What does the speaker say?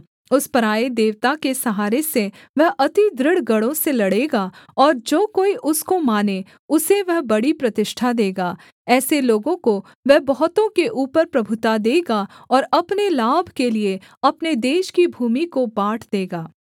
उस पराए देवता के सहारे से वह अति दृढ़ गढ़ों से लड़ेगा और जो कोई उसको माने उसे वह बड़ी प्रतिष्ठा देगा ऐसे लोगों को वह बहुतों के ऊपर प्रभुता देगा और अपने लाभ के लिए अपने देश की भूमि को बाँट देगा